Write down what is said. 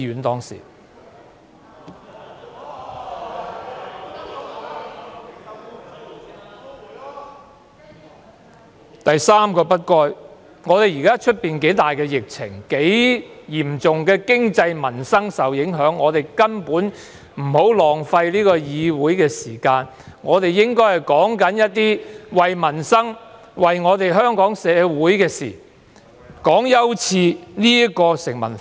第三個"不該"，是現時外邊疫情嚴重，經濟民生大受影響，我們根本不應該浪費議會時間，而應討論關乎民生及香港社會的議題。